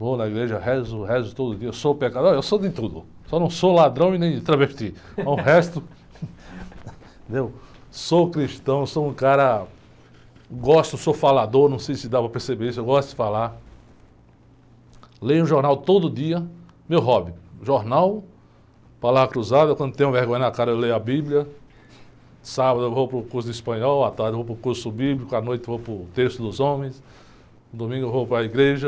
Vou na igreja, rezo, rezo todo dia, eu sou pecador? Eu sou de tudo, só não sou ladrão e nem travesti, mas o resto, entendeu? Sou cristão, sou um cara, gosto, sou falador, não sei se dá para perceber isso, eu gosto de falar, leio um jornal todo dia, meu hobby, jornal, palavra cruzada, quando tenho vergonha na cara eu leio a bíblia, sábado eu vou para o curso de espanhol, à tarde eu vou para o curso bíblico, à noite eu vou para o texto dos homens, domingo eu vou para a igreja,